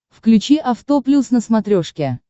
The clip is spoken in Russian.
включи авто плюс на смотрешке